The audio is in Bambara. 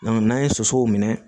n'an ye sosow minɛ